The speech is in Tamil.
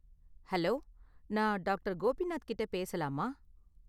ஹலோ, நான் டாக்டர். கோபிநாத் கிட்ட பேசலாமா?